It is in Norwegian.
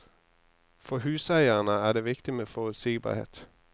For huseierne er det viktig med forutsigbarhet.